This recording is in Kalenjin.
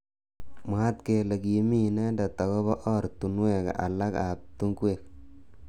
Mwaat kele kime inendet akobo ortunwek alak ab tungwek.